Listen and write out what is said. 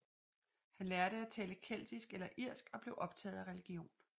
Han lærte at tale keltisk eller irsk og blev optaget af religion